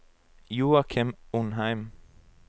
Joachim Undheim